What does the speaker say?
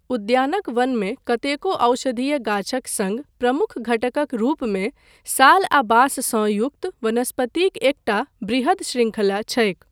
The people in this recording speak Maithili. उद्यानक वनमे कतेको औषधीय गाछक सङ्ग प्रमुख घटकक रूपमे साल आ बाँस सँ युक्त वनस्पतिक एकटा बृहद शृंखला छैक।